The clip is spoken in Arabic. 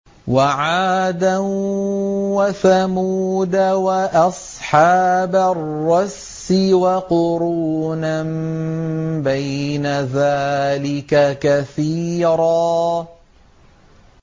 وَعَادًا وَثَمُودَ وَأَصْحَابَ الرَّسِّ وَقُرُونًا بَيْنَ ذَٰلِكَ كَثِيرًا